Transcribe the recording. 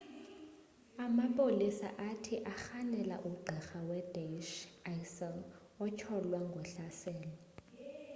amapolisa athi arhanela ugqirha we-daesh isil otyholwa ngohlaselo